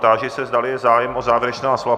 Táži se, zda je zájem o závěrečná slova.